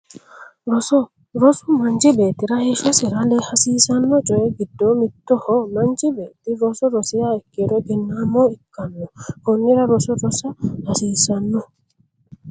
Roso rosu manchi beettira heeshshosira hasiisanno coyi giddonni mittoho manchi beetti roso rosiha ikkiro egennnaamo ikkanno konnira roso rosa hasiissanno